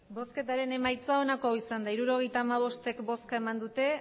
botoak hirurogeita hamabost bai